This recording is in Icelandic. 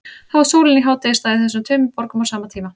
Þá er sólin í hádegisstað í þessum tveimur borgum á sama tíma.